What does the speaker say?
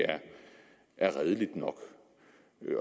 er redeligt nok